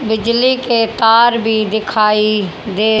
बिजली के तार भी दिखाई दे--